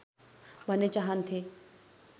भन्ने चाहन्थे